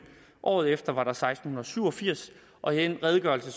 året efter var der seksten syv og firs og i den redegørelse